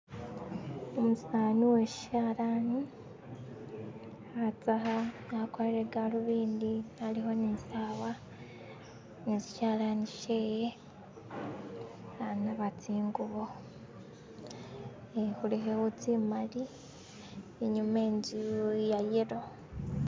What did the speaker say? Umusani uweshalani, khatsakha akwalire galuvindi alikho ne sawa nesishalani shewe khanaba tsingubo khekhulekhewo tsimali inyuma inzu ye'yelo